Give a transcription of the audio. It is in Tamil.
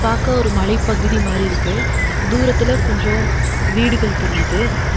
பாக்க ஒரு மலை பகுதி மாரி இருக்கு தூரத்துல கொஞ்சோ வீடுகள் தெரியிது.